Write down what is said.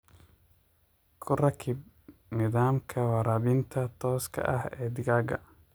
Ku rakib nidaamka waraabinta tooska ah ee digaaga.